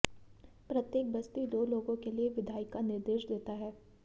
प्रत्येक बस्ती दो लोगों के लिए विधायिका निर्देश देता है